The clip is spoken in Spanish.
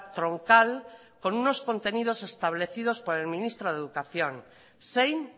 troncal con unos contenidos establecidos por el ministro de educación zein